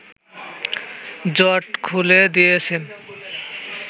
জট খুলে দিয়েছেন